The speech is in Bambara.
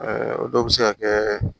o dɔw bɛ se ka kɛ